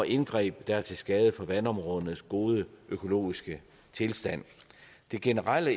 indgreb der er til skade for vandområdernes gode økologiske tilstand det generelle